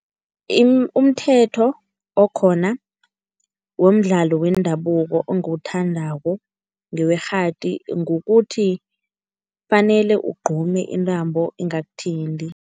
Umthetho okhona womdlalo wendabuko engiwuthandako ngewekghadi, ngokuthi kufanele ugqume intambo ingakuthinti.